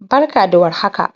Barka da war haka